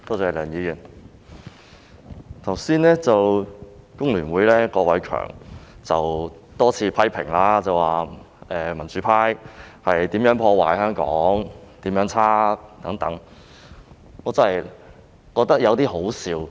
香港工會聯合會郭偉强議員剛才多次批評民主派如何破壞香港及何其差劣等，我真的覺得有點可笑。